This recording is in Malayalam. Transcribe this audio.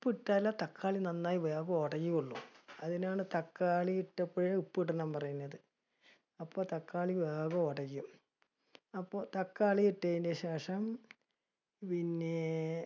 ഉപ്പിട്ടാലേ തക്കാളി നന്നായി വേഗം ഒടയുള്ളു. എന്തിനാണ് തക്കാളി ഇട്ടപ്പഴേ ഉപ്പ് ഇടണം പറയണത്. അപ്പ തക്കാളി വേഗം ഒടയും. അപ്പൊ തക്കാളി ഇട്ടതിനുശേഷം, പിന്നെ